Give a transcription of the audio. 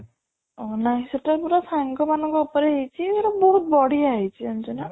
ସେ ତ ପୁରା ସାଙ୍ଗ ମାନଙ୍କ ଉପରେ ହେଇଚି ମାନେ ବହୁତ ବଢିଆ ହେଇଚି ଜାଣିଚୁ ନା